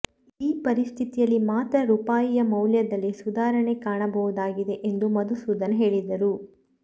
ಈ ಪರಿಸ್ಥಿತಿಯಲ್ಲಿ ಮಾತ್ರ ರೂಪಾಯಿಯ ಮೌಲ್ಯದಲ್ಲಿ ಸುಧಾರಣೆ ಕಾಣಬಹುದಾಗಿದೆ ಎಂದು ಮಧುಸೂಧನ್ ಹೇಳಿದರು